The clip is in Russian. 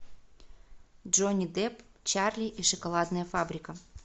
джонни депп чарли и шоколадная фабрика